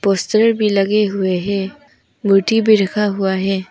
बिस्तर भी लगे हुए हैं बूटी भी रखा हुआ है।